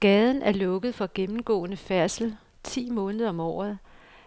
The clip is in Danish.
Gaden er lukket for gennemgående færdsel ti måneder om året,